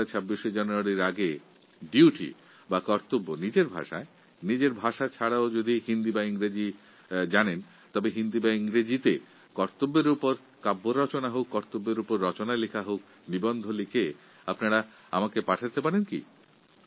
২৬শে জানুয়ারির আগে আপনারা নিজেদের মাতৃভাষায় অথবা ইংরাজি বা হিন্দিতে কর্তব্য বিষয়ে রচনা কবিতা লিখে আমাকে পাঠাতে পারেন